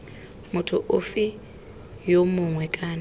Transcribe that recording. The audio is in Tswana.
motho ofe yo mongwe kana